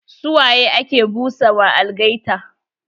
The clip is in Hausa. Su waye ake busa ma algaita?